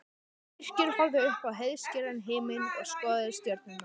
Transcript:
Birkir horfði upp í heiðskíran himininn og skoðaði stjörnurnar.